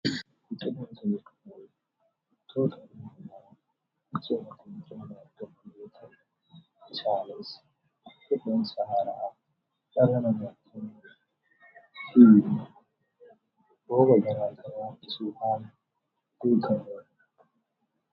Biqiltoota. Biqiltoonni magariisa ta'anii dachee kan uwwisanii kan argaman yammuu ta'an; isaannis haala qilleensa mijataa fi rooba harkisuu keessatti faayidaa guddaa kan qabaniidha.